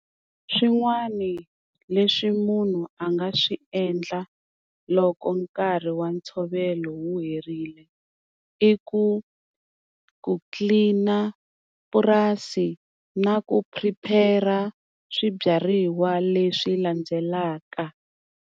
Swin'wani leswi munhu a nga swi endla loko nkarhi wa ntshovelo wu herile, i ku ku tlilina purasi na ku prepare-a swibyariwa leswi landzelaka.